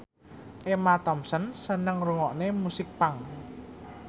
Emma Thompson seneng ngrungokne musik punk